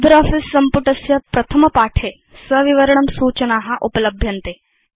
LibreOffice सम्पुटस्य प्रथमपाठे सविवरणं सूचना उपलभ्यन्ते